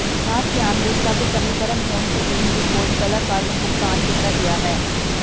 ਖਾਸ ਧਿਆਨ ਦੇ ਸਭ ਸਮੀਕਰਨ ਹੋਣ ਸਕੀਮ ਦੀ ਖੋਜ ਕਲਾਕਾਰ ਨੂੰ ਭੁਗਤਾਨ ਕੀਤਾ ਗਿਆ ਹੈ